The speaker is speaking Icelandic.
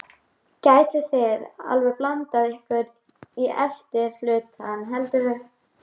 Gætuð þið alveg blandað ykkur í efri hlutann heldurðu?